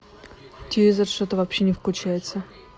телевизор что то вообще не включается